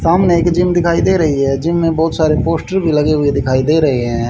सामने एक जिम दिखाई दे रही है जिम में बहुत सारे पोस्टर भी लगे हुए दिखाई दे रहे हैं।